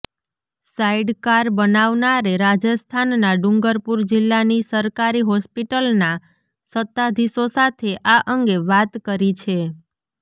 sidecar બનાવનારે રાજસ્થાનના ડુંગરપુર જિલ્લાની સરકારી હોસ્પિટલના સત્તાધીશો સાથે આ અંગે વાત કરી છે